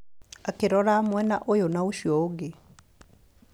Akĩrora mwena ũyũ na ũcio ũngĩ.